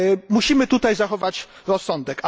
Musimy tutaj zachować rozsądek.